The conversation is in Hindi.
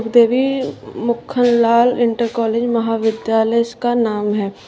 देवी मुख लाल इंटर कॉलेज महाविद्यालय इस का नाम है।